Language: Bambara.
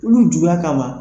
Tulu jula kama.